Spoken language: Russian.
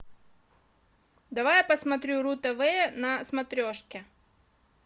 давай я посмотрю ру тв на смотрешке